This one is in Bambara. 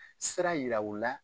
Sira yira u la.